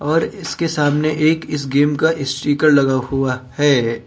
और इसके सामने एक इस गेम का स्टीकर लगा हुआ है।